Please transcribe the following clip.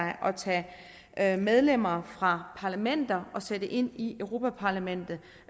at tage medlemmer fra parlamenter og sætte ind i europa parlamentet